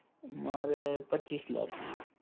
મારે પચ્ચીસ લાખની